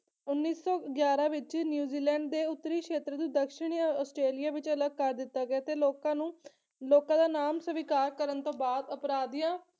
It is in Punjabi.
ਉੱਨੀ ਸੌ ਗਿਆਰਾਂ ਵਿੱਚ ਨਿਊਜ਼ੀਲੈਂਡ ਦੇ ਉੱਤਰੀ ਸ਼ੇਤਰ ਨੂੰ ਦਕਸ਼ਣੀ ਆਸਟ੍ਰੇਲੀਆ ਵਿੱਚ ਅਲੱਗ ਕਰ ਦਿੱਤਾ ਗਿਆ ਤੇ ਲੋਕਾਂ ਨੂੰ ਲੋਕਾਂ ਦਾ ਨਾਮ ਸਵੀਕਾਰ ਕਰਨ ਤੋਂ ਬਾਅਦ ਅਪਰਾਧੀਆਂ